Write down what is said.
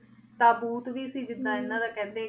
ਤਾਬੂਤ ਵੀ ਸੀ ਜਿਦਾਂ ਏਨਾ ਦਾ ਕੇਹੰਡੀ